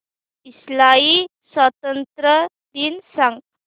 Israel स्वातंत्र्य दिन सांग